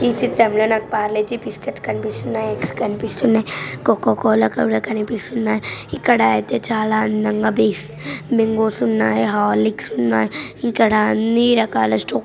చిత్రంలో నాకు పార్లేజీ బిస్కెట్స్ కనిపిస్తున్నాయి. ఎగ్ స్ కనిపిస్తున్నాయి. కోకోకోలా కూడా కనిపిస్తున్నాయి. ఇక్కడ అయితే చాలా అందంగా బిస్ బింగోస్ ఉన్నాయి హార్లిక్స్ ఉన్నాయి. ఇక్కడ అన్ని రకాల స్టో --